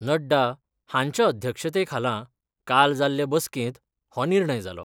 नड्डा हांच्या अध्यक्षतेखाला काल जाल्ले बसकेत हो निर्णय जालो.